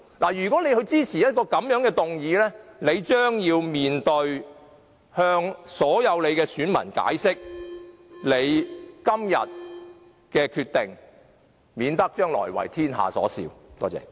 他們若支持這樣的修正案，將必須向其所有選民解釋今天所作的決定，免得將來為天下所笑。